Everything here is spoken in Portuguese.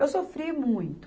Eu sofri muito.